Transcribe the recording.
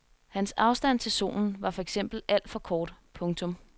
Hans afstand til solen var for eksempel alt for kort. punktum